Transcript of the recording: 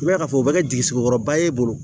N b'a fɔ o bɛ kɛ jisigekɔrɔba ye e bolo